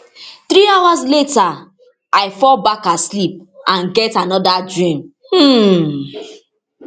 three hours later i fall back asleep and get anoda dream um